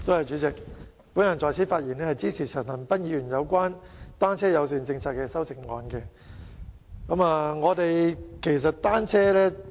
主席，我發言支持陳恒鑌議員就單車友善政策提出的修正案。